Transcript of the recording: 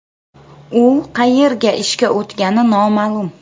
U qayerga ishga o‘tgani noma’lum.